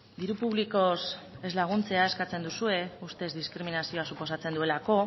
diru publikoz ez laguntzea eskatzen duzue ustez diskriminazioa suposatzen duelako